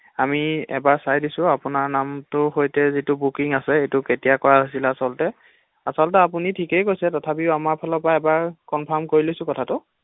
আমি এবাৰ চাই দিছো আপোনাৰ নামটোৰ সৈতে যিটো বুকিং আছে সেইটো কেতিয়া কৰা হৈছিলে আচলতে ৷আচলতেআপুনি ঠিকেই তথাপিও আমাৰ ফালৰ পৰা এবাৰ কনফ্ৰাম কৰি লৈছো কথাতো৷